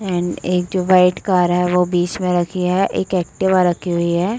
And एक जो white car है। वो बीच मे रखी है। एक एक्टिवा रखी हुई है।